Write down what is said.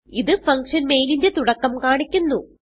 ഇത് function main ന്റെ തുടക്കം കാണിക്കുന്നു